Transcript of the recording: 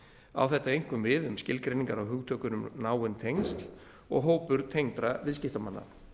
á þetta einkum við um skilgreiningar á hugtökunum náin tengsl og hópur tengdra viðskiptamanna